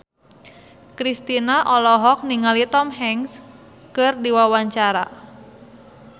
Kristina olohok ningali Tom Hanks keur diwawancara